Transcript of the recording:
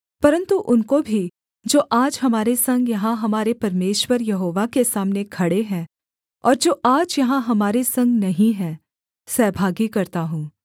परन्तु उनको भी जो आज हमारे संग यहाँ हमारे परमेश्वर यहोवा के सामने खड़े हैं और जो आज यहाँ हमारे संग नहीं हैं सहभागी करता हूँ